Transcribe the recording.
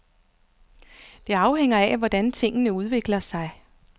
Det afhænger af, hvordan tingene udvikler sig.